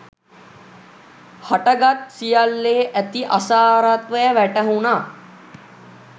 හටගත් සියල්ලේ ඇති අසාරත්වය වැටහුණා.